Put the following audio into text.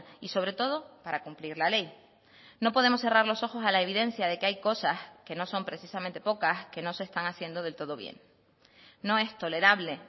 y sobre todo para cumplir la ley no podemos cerrar los ojos a la evidencia de que hay cosas que no son precisamente pocas que no se están haciendo del todo bien no es tolerable